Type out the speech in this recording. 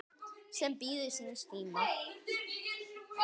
sem bíður síns tíma